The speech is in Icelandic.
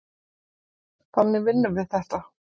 Þannig vinnum við þetta.